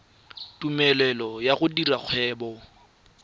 tumelelo ya go dira kgwebo